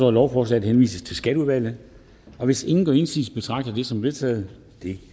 at lovforslaget henvises til skatteudvalget hvis ingen gør indsigelse betragter jeg det som vedtaget det